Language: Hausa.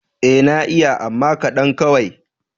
Ee na iya amma kaɗan kawai.